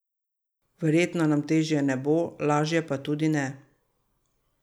Verjetno nam težje ne bo, lažje pa tudi ne.